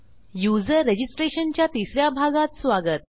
user registration च्या तिस या भागात स्वागत